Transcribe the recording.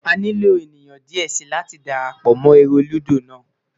A nilo eniyan diẹ sii lati darapọ mọ ere ludo naa